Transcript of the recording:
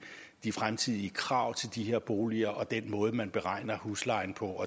de fremtidige krav til de her boliger og den måde man beregner huslejen på